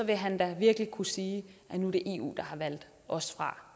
vil han da virkelig kunne sige det er eu der har valgt os fra